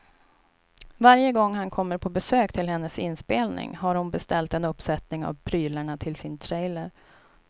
Varje gång han kommer på besök till hennes inspelning har hon beställt en uppsättning av prylarna till sin trailer.